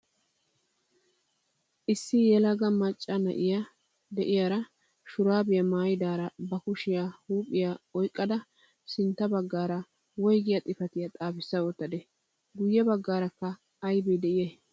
Issi yelaga macca na'iyaa bootta meraara de'iyaa shuraabiyaa maayidaara ba kushiyaa huuphphiyaa oyqqada sintta baggaara woygiyaa xifatiyaa xaafissa wottadee? guye baggaarakka aybee de'iyay?